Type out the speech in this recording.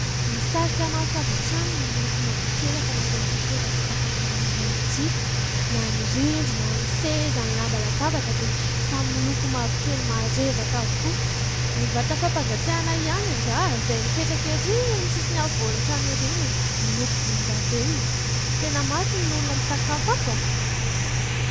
Misarika maso avy hatrany ny loko mavokely atao anatin'ity toeram-pisafoanana iray ity, na ny rindrina, ny seza, ny lamba latabatra dia samy miloko mavokely marevaka avokoa, ny vata fampangatsiahana ihany angaha izay mipetraka iry amin'ny sisiny afovoan-trano iry no miloko volondavenona tena maro ny olona misakafo ato a !